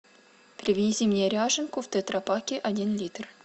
привези мне ряженку в тетрапаке один литр